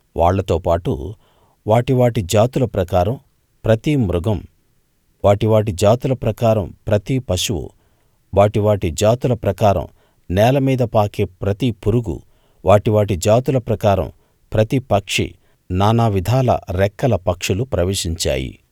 వాళ్ళతోపాటు వాటి వాటి జాతుల ప్రకారం ప్రతి మృగం వాటి వాటి జాతుల ప్రకారం ప్రతి పశువు వాటి వాటి జాతుల ప్రకారం నేలమీద పాకే ప్రతి పురుగు వాటి వాటి జాతుల ప్రకారం ప్రతి పక్షి నానావిధాల రెక్కల పక్షులు ప్రవేశించాయి